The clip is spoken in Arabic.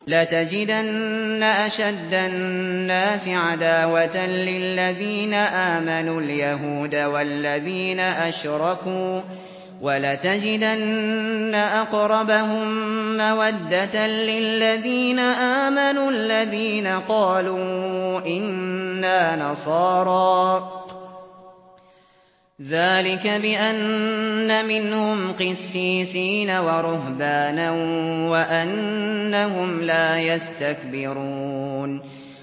۞ لَتَجِدَنَّ أَشَدَّ النَّاسِ عَدَاوَةً لِّلَّذِينَ آمَنُوا الْيَهُودَ وَالَّذِينَ أَشْرَكُوا ۖ وَلَتَجِدَنَّ أَقْرَبَهُم مَّوَدَّةً لِّلَّذِينَ آمَنُوا الَّذِينَ قَالُوا إِنَّا نَصَارَىٰ ۚ ذَٰلِكَ بِأَنَّ مِنْهُمْ قِسِّيسِينَ وَرُهْبَانًا وَأَنَّهُمْ لَا يَسْتَكْبِرُونَ